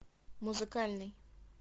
музыкальный